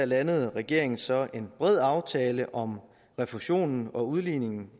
landede regeringen så en bred aftale om refusionen og udligningen